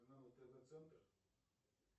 каналы тв центр